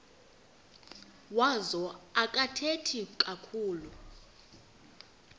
wazo akathethi kakhulu